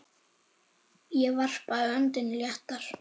Ég varpaði öndinni léttar.